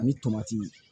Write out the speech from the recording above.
Ani tomati